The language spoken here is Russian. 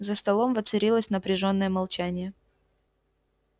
за столом воцарилось напряжённое молчание